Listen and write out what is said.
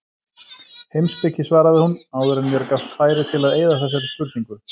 Heimspeki svaraði hún, áður en mér gafst færi til að eyða þessari spurningu.